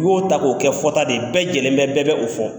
U y'o ta k'o kɛ fɔta de ye, bɛɛ jɛlen bɛ, bɛɛ bɛ o fɔ .